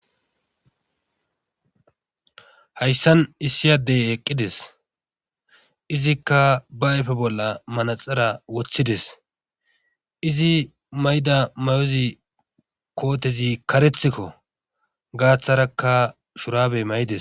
Hayssan iissi adde eqqides izikka ba ayfe bolla manaxire wotides. izi mayido kootezi karethikko. ggaththarakka shurabe mayidees.